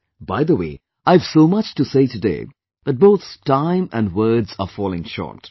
Friends, by the way, I have so much to say today that both time and words are falling short